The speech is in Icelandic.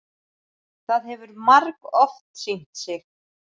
Það hefur margoft sýnt sig.